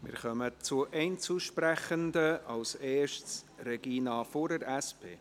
Wir kommen zu den Einzelsprechenden, als Erstes zu Regina Fuhrer von der SP.